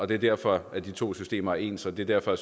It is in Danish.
det er derfor de to systemer er ens og det er derfor